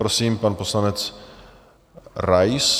Prosím, pan poslanec Rais.